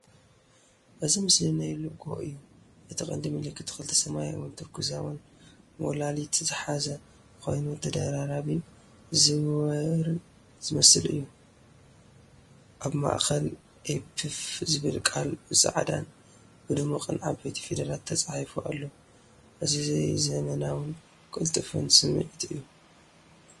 እዚ ምስሊ ናይ ሎጎ እዩ። እቲ ቀንዲ ምልክት ክልተ ሰማያውን ቱርኩዛውን ሞላሊት ዝሓዘ ኮይኑ ተደራራቢን ዝዘውርን ዝመስል እዩ። ኣብ ማእከል "ኤፕፍ" ዝብል ቃል ብጻዕዳን ብድሙቕን ዓባይ ፊደላት ተጻሒፉ ኣሎ። እዚ ዘመናውን ቅልጡፍን ስምዒት እዩ።!